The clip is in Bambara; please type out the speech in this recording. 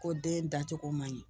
Ko den dacogo man ɲi